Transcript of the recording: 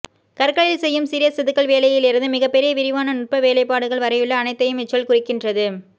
கற்களில் செய்யும் சிறிய செதுக்கல் வேலையிலிந்து மிகப்பெரிய விரிவான நுட்ப வேலைப்பாடுகள் வரையுள்ள அனைத்தையும் இச்சொல் குறிக்கின்றது